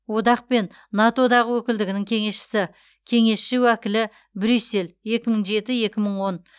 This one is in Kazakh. одақ пен нато дағы өкілдігінің кеңесшісі кеңесші уәкілі брюссель екі мың жеті екі мың он